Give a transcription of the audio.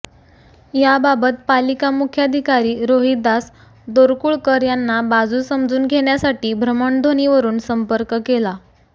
याबाबत पालिका मुख्याधिकारी रोहिदास दोरकुळकर यांना बाजू समजून घेण्यासाठी भ्रमणध्वणीवरून संपर्क केला